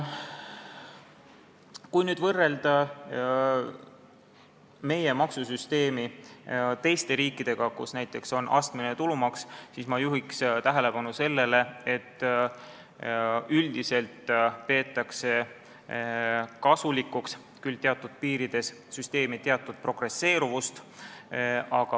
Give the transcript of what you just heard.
Kui võrrelda meie maksusüsteemi teiste riikide süsteemidega, kus näiteks on astmeline tulumaks, siis ma juhin tähelepanu sellele, et üldiselt peetakse kasulikuks, küll teatud piirides, süsteemi teatud progresseeruvust.